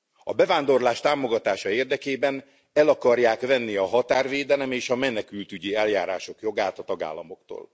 A bevándorlás támogatása érdekében el akarják venni a határvédelem és a menekültügyi eljárások jogát a tagállamoktól.